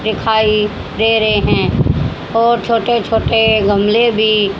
दिखाई दे रहे हैं और छोटे छोटे गमले भी--